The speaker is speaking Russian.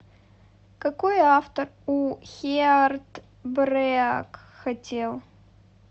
какой автор у хеартбреак хотел